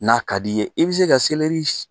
N'a ka d'i ye i bi se ka